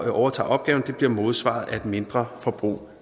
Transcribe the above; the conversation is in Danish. overtager opgaven bliver modsvaret af et mindre forbrug